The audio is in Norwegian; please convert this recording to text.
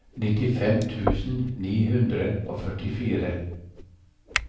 nittifem tusen ni hundre og førtifire